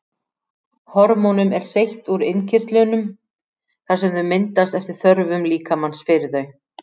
Hormónum er seytt úr innkirtlunum þar sem þau myndast eftir þörfum líkamans fyrir þau.